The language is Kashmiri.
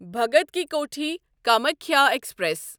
بھگت کی کۄٹھی کامکھیا ایکسپریس